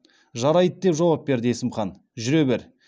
жарайды деп жауап берді есім хан жүре бер